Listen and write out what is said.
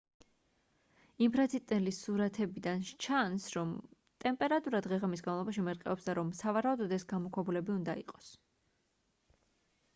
ინფრაწითელი სურათებიდან სჩანს რომ ტემპერატურა დღე-ღამის განმავლობაში მერყეობს და რომ სავარაუდოდ ეს გამოქვაბულები უნდა იყოს